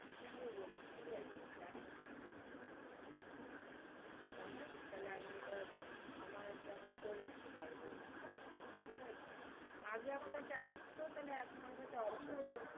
তুই আমাকে বলিস, ঠিক আছে, জানিস্ কিন্তু। জানাইস তাহলে আমি এটা আমার আমাকে করিয়ে দিতে পারবো এমনি কাজ গুলি, ঠিক আছে। আগে আমার কাছে আসতো তাহলে আমার কাছে option